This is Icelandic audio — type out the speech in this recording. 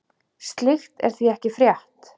Slíkt er því ekki frétt.